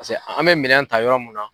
Paseke an bɛ minɛn ta yɔrɔ min